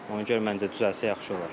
Ona görə məncə düzəlsə yaxşı olar.